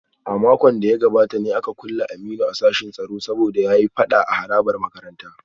A makon da ya gabata ne aka kulle Aminu a sashin tsaro saboda ya yi fada a harabar makarantar